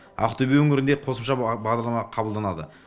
ақтөбе өңірінде қосымша бағдарлама қабылданады